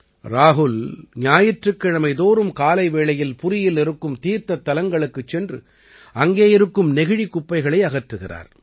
ராஹுல் ஞாயிற்றுக் கிழமை தோறும் காலை வேளையில் புரீயில் இருக்கும் தீர்த்தத் தலங்களுக்குச் சென்று அங்கே இருக்கும் நெகிழிக் குப்பைகளை அகற்றுகிறார்